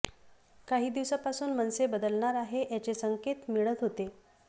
काही दिवसापासून मनसे बदलणार आहे याचे संकेत मिळत होते